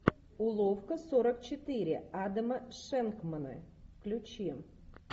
уловка сорок четыре адама шенкмана включи